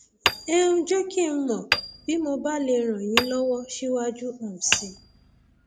ẹ um jẹ kí n mọ bí mo bá lè ràn yín lọwọ síwájú um sí i